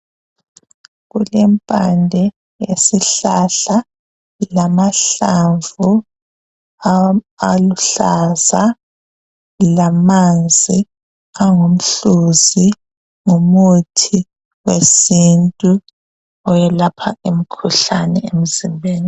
Kulempande zesihlahla lamahlamvu aluhlaza lamanzi thwa ngumhluzi ngumuthi wesintu owelapha imkhuhlane emzimbeni.